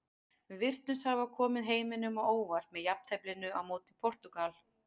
Við virtumst hafa komið heiminum á óvart með jafnteflinu á móti Portúgal.